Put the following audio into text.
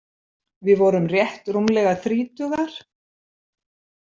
Við vorum rétt rúmlega þrítugar.